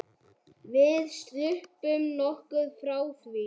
Við sluppum nokkuð frá því.